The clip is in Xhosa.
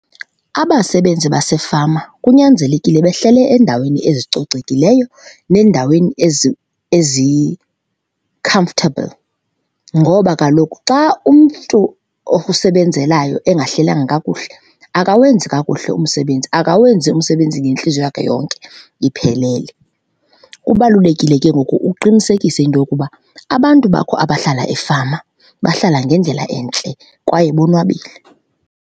Abasebenzi basefama kunyanzelekile behlele eendaweni ezicocekileyo neendaweni ezi-comfortable ngoba kaloku xa umntu okusebenzelayo engahlelanga kakuhle akawenzi kakuhle umsebenzi, akawenzi umsebenzi ngentliziyo yakhe yonke iphelele. Kubalulekile ke ngoku uqinisekise into yokuba, abantu bakho abahlala efama bahlala ngendlela entle kwaye bonwabile,